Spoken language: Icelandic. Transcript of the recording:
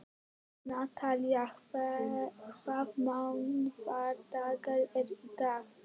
Natalía, hvaða mánaðardagur er í dag?